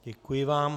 Děkuji vám.